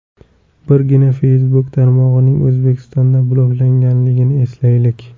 Birgina Facebook tarmog‘ining O‘zbekistonda bloklanganini eslaylik.